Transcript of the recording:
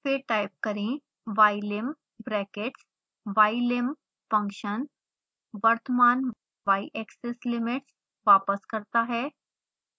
फिर टाइप करें ylim brackets ylim function वर्तमान yaxis limits वापस करता है